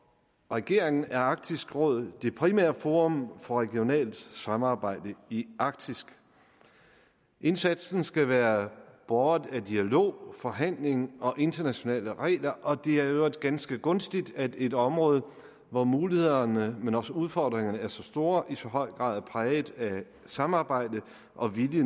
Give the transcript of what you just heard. regeringen er arktisk råd det primære forum for regionalt samarbejde i arktis indsatsen skal være båret af dialog forhandling og internationale regler og det er i øvrigt ganske gunstigt at et område hvor mulighederne men også udfordringerne er så store i så høj grad er præget af samarbejde og vilje